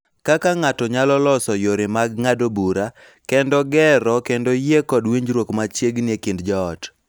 Kaka ng�ato nyalo loso yore mag ng�ado bura, kendo gero kendo yie kod winjruok machiegni e kind joot.